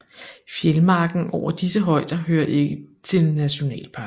Fjeldmarken over disse højder hører ikke til nationalparken